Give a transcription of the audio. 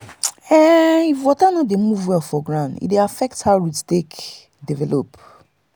if water no dey dey move well for ground e dey affect how root take dey develop.